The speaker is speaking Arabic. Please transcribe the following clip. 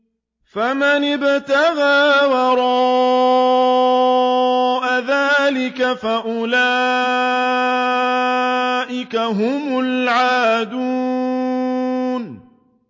فَمَنِ ابْتَغَىٰ وَرَاءَ ذَٰلِكَ فَأُولَٰئِكَ هُمُ الْعَادُونَ